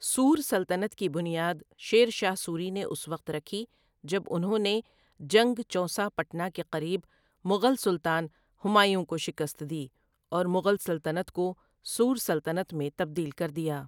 سور سلطنت کی بنیاد شیر شاہ سوری نے اس وقت رکھی جب انہوں نے جنگ چونسا پٹنا کے قریب مغل سلطان ہمایوں کو شکست دی اور مغل سلطنت کو سور سلطنت میں تبدیل کر دیا۔